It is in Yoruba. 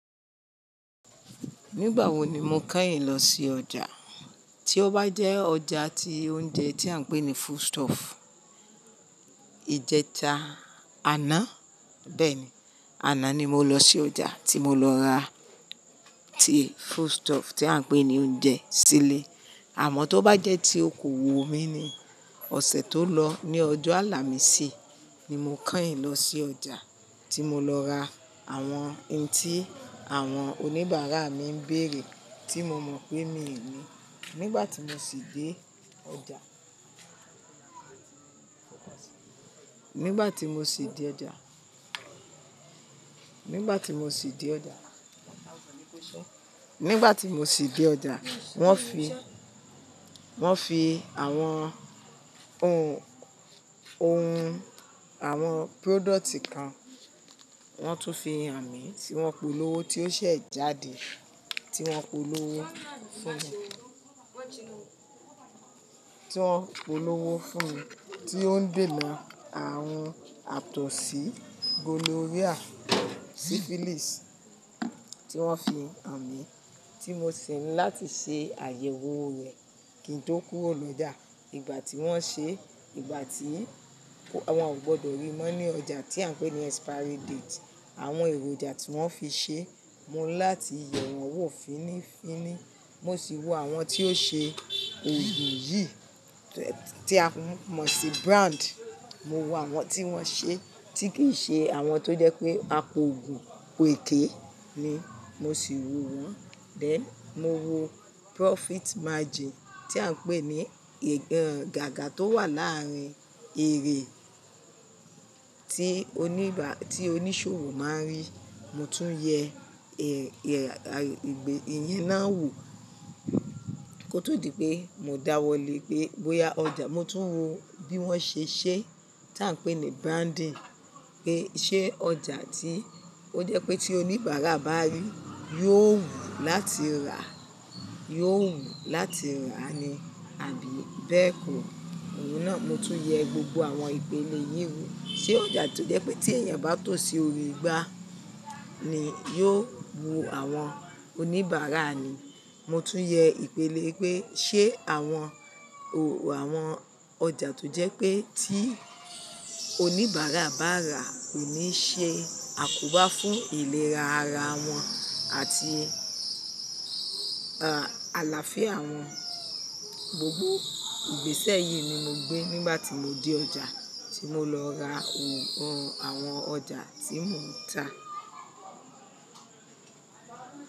Nígbà wo ni mo kányìn lọ sí ọjà? Tí ó bá jẹ́ ọjà ti oúnjẹ tí à ń pè ní food stuff, ìjẹta àná, bẹ́ẹ̀ni, àná ni mo lọ sí ọjà tí mo lọ ra tí food stuff tí à ń pè ní oúnjẹ sílé. Àmọ́ tó bá jẹ́ tí o kò wò mí ni, ọ̀sẹ̀ tó lọ ní ọjọ́ Ààlàmísì ni mo kányìn lọ sí ọjà tí mo lọ ra àwọn ohun tí àwọn oníbàárà mi ń bèrè tí mo mọ̀ pé mí ò ní. Nígbà tí mo sì dé ọjà, nígbà tí mo sì dé ọjà, nígbà tí mo sì dé ọjà, nígbà tí mo sì dé ọjà, wọ́n fi, wọ́n fi àwọn ohun, ohun àwọn product kan, wọ́n tún fi hàn mí tí wọ́n polówó tí ó ṣẹ̀ jáde, tí wọ́n polówó fún mi, tí wọ́n polówó fún mi tí ó ń dènà arun àtọ̀sí gonorrhea, syphilis tí wọ́n fi hàn mí tí mo si ńi láti ṣe àyẹ̀wò rẹ̀ kí n tó kowo le da. Ìgbà tí wọ́n ṣe, ìgbà tí wọn ò gbọdọ̀ rí mọ́ ní ọjà tí à ń pè ní expiry date, àwọn èròjà tí wọ́n fi ṣe, mo ń láti yẹ wọn wò fínnífínní. Mo sì wo àwọn tí ó ṣe ògùn yìí tí a mọ̀ sí brand. Mo wo àwọn tí wọ́n ṣe tí kì í ṣe àwọn tó jẹ́ pé a pọ ògùn pèké ni, mo sì wo wọ́n. Then, mo wo profit margin tí à ń pè ní gágà tó wà láàrín èrè tí oníba, tí oníṣòwò má ń rí. Mo tún yẹ ìyẹn náà wò kó tó di pé mo dáwọ́lé pé bóyá ọjà. Mo tún wo bí wọ́n ṣe ṣẹ́ tí à ń pè ní branding pé ṣé ọjà tí ó jẹ́ pé tí oníbàárà bá rí yóò wù láti ràá, yóò wù láti rà á ni àbí bẹ́ẹ̀ kọ́. Òun náà mo tún yẹ gbogbo àwọn ìpele yìí wò. Ṣé ọjà tó jẹ́ pé tí èèyàn bá tò sí orí igbá ni yóò wu àwọn oníbàárà ni? Mo tún yẹ ìpele pé ṣé àwọn o, àwọn ọjà tó jẹ́ pé tí oníbàárà bá rà kò ní ṣe àkóbá fún ìlera ara wọn àti, ah, àlàáfíà wọn Gbogbo ìgbésẹ̀ yìí ni mo gbé nígbà tí mo dé ọjà tí mo lọ ra ohun àwọn ọjà tí mò ń tà.